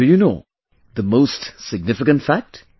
And do you know the most significant fact